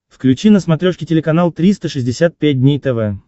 включи на смотрешке телеканал триста шестьдесят пять дней тв